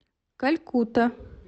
калькутта